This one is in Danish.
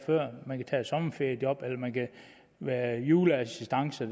man kan tage et sommerferiejob eller være juleassistance